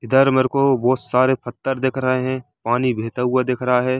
इधर मेरे को बहुत सारे पत्थर दिख रहे है पानी बेहता हुआ दिख रहा है।